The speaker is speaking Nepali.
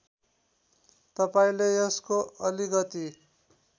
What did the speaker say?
तपाईँले यसको अलिकति